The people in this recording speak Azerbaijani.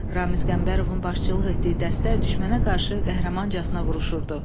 Ramiz Qəmbərovun başçılıq etdiyi dəstə düşmənə qarşı qəhrəmancasına vuruşurdu.